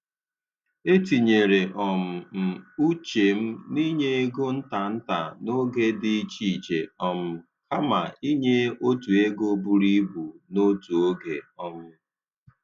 E tinyere um m uche m n’inye ego nta nta n’oge dị iche iche um kama inye otu ego buru ibu n’otu oge. um